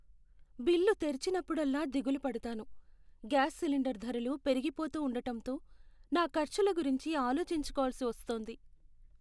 Bill తెరిచినప్పుడల్లా దిగులు పడతాను. గ్యాస్ సిలిండర్ ధరలు పెరుగిపోతూ ఉండటంతో నా ఖర్చుల గురించి ఆలోచించుకోవలసి వస్తోంది.